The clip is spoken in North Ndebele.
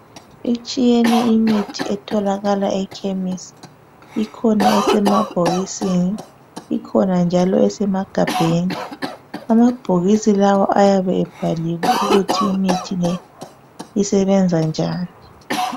Itshiyene imithi etholakala ekhemisi, ikhona esemabhokisini ikhona njalo esemagabheni. Amabhokisi lawa ayabe ebhaliwe ukuthi imithi le isebenza njani